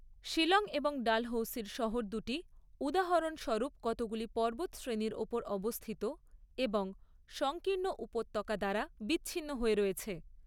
শীলং এবং ডালহৌসি শহর দুটি উদাহরণস্বরুপ কতগুলি পর্বত শ্রেণীর ওপর অবস্থিত এবং সংঙ্কীর্ণ উপত্যকা দ্বারা বিছিন্ন হয়ে রয়েছে।